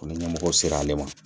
Ko ni ɲɛmɔgɔw sera ale ma